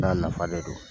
N'a nafa de don